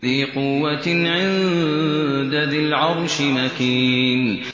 ذِي قُوَّةٍ عِندَ ذِي الْعَرْشِ مَكِينٍ